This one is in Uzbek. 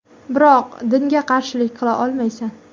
Biroq dinga qarshilik qila olmaysan.